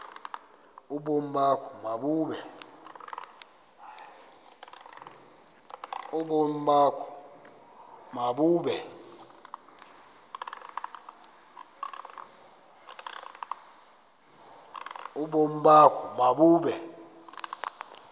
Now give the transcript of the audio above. ubomi bakho mabube